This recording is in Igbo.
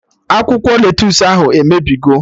Akwụkwọ lettusu ahụ emebigo!